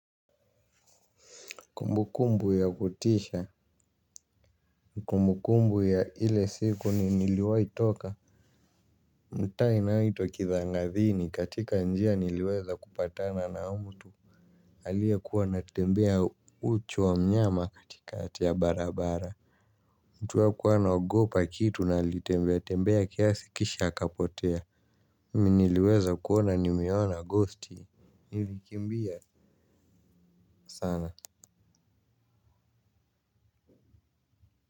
Kumbukumbu ya kutisha. Kumbukumbu ya ile siku ni niliwahi toka mtaa inayoitwa kithangadhini katika njia niliweza kupatana na mtu aliye kuwa anatembea uchi wa mnyama katikati ya barabara mtu hakuwa anaogopa kitu na alitembea tembea kiasi kisha akapotea mimi niliweza kuona nimeona ghosti. Nilikimbia sana.